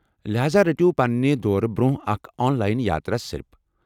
لہاذا رٔٹو پننہ دورٕ برٛونٛہہ اکھ آن لاین یاترا سِلِپ ۔